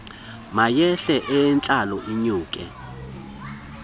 mayehle eyehlayo inyuke